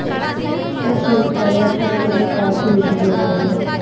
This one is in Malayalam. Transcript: റഷ്യയിൽ പരിവർത്തനത്തിന്റെ കാറ്റു വീശുകയായിരുന്നു.